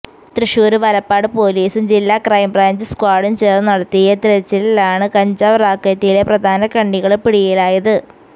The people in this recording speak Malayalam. തൃശൂര് വലപ്പാട് പൊലീസും ജില്ലാ ക്രൈംബ്രാഞ്ച് സ്ക്വാഡും ചേര്ന്ന് നടത്തിയ തെരച്ചിലിലാണ് കഞ്ചാവ് റാക്കറ്റിലെ പ്രധാന കണ്ണികള് പിടിയിലായത്